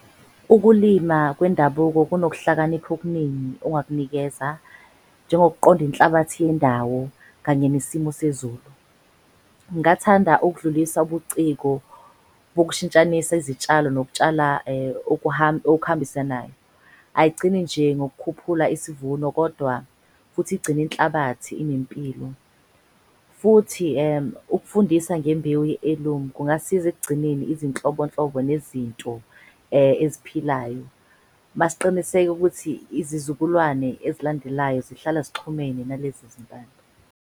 Ukulima kwendabuko kunokuhlakanipha okuningi ongakunikeza njengokuqonda inhlabathi yendawo kanye nesimo sezulu. Ngathanda ukudlulisa ubuciko bokushintshanisa izitshalo nokutshala okuhambisanayo. Ayigcini nje ngokukhuphula isivuno kodwa futhi igcine inhlabathi inempilo. Futhi ukufundisa ngembewu kungasiza ekugcineni izinhlobonhlobo nezinto eziphilayo. Masiqiniseka ukuthi izizukulwane ezilandelayo zihlala zixhumene nalezi .